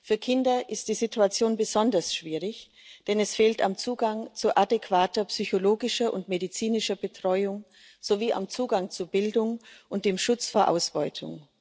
Für Kinder ist die Situation besonders schwierig, denn es fehlt am Zugang zu adäquater psychologischer und medizinischer Betreuung sowie am Zugang zu Bildung und am Schutz vor Ausbeutung.